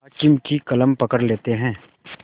हाकिम की कलम पकड़ लेते हैं